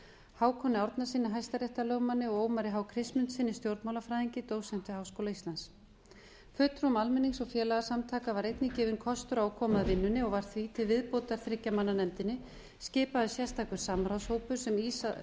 hákoni árnasyni hæstaréttarlögmanni og ómari h kristmundssyni stjórnmálafræðingi dósent við háskóla íslands fulltrúum almennings og félagasamtaka var einnig gefinn kostur á að koma að vinnunni og var því til viðbótar þriggja manna nefndinni skipaður sérstakur samráðshópur sem í